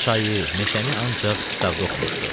Çayı, meşəni ancaq kitabda oxumuşdu.